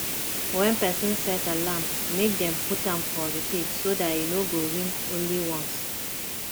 when person set alarm make dem put am for repeat so dat e no go ring only ones